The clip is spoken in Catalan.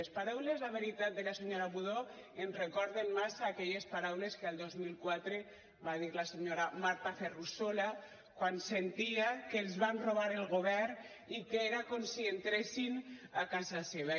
les paraules la veritat de la senyora budó ens recorden massa aquelles paraules que el dos mil quatre va dir la senyora marta ferrusola quan sentia que els van robar el govern i que era com si entressin a casa seva